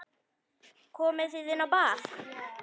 Komið þið inn á bað.